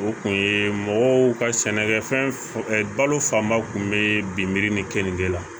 O kun ye mɔgɔw ka sɛnɛkɛfɛn balo fanba kun be bin miri ni keninke la